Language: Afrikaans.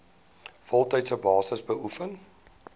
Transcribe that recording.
voltydse basis beoefen